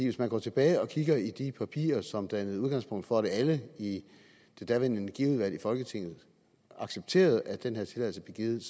hvis man går tilbage og kigger i de papirer som dannede udgangspunkt for at alle i det daværende energiudvalg i folketinget accepterede at den her tilladelse blev givet